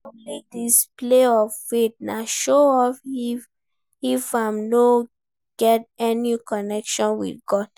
Publi display of faith na show off if im no get any connection with God